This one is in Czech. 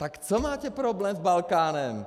Tak jaký máte problém s Balkánem?